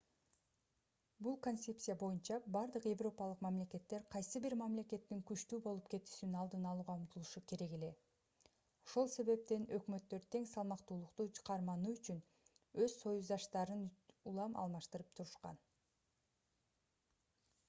бул концепция боюнча бардык европалык мамлекеттер кайсы бир мамлекеттин күчтүү болуп кетүүсүн алдын алууга умтулушу керек эле ошол себептен өкмөттөр тең салмактуулукту кармануу үчүн өз союздаштарын улам алмаштырып турушкан